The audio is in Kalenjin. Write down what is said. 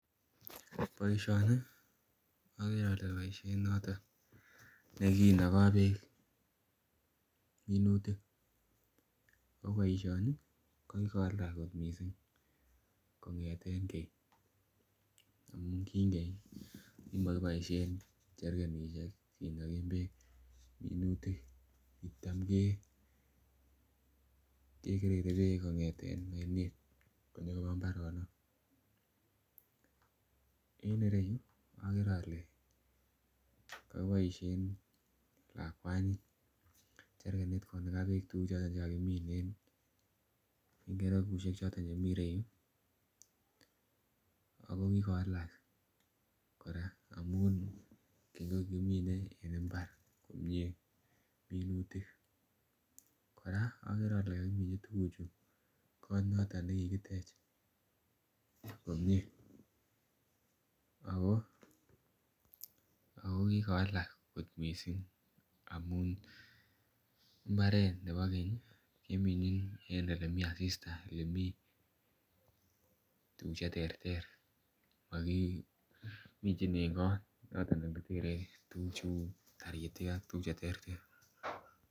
Boishoni ogere ole boishet noton ne kinogoo beek minutik oo boishoni ko kikowalak kot missing kongeten keny amun keny kokimo kiboishen jericanishek kinogen beek minutik kitam ke kegerere beek kongeten oinet konyogoba imbaronok. En ireyu ogere ole koboishen lakwani jericanit konaga beek tuguk choton che kakimin en yuu en keregushek choton chemii yuu ago kikowalak koraa amun kikimine en mbar komie minutik, koraa ogere ole kokimichi tuguchu kot noton ne kikitech komie ako ako kikowalak kot missing amun imbaret nebo keny kemichin en ole mii asista ole mii tuguk che terter mokimichin en kot ole tere tuguk cheuu taritik ak tuguk che terter